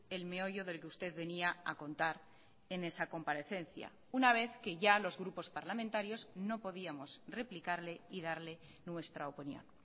el meollo del que usted venía a contar en esa comparecencia una vez que ya los grupos parlamentarios no podíamos replicarle y darle nuestra opinión